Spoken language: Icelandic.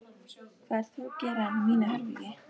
Hvað ert þú að gera inni í mínu herbergi?